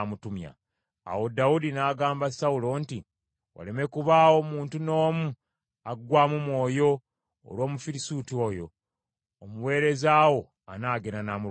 Awo Dawudi n’agamba Sawulo nti, “Waleme kubaawo muntu n’omu aggwaamu mwoyo olw’Omufirisuuti oyo. Omuweereza wo anaagenda n’amulwanyisa.”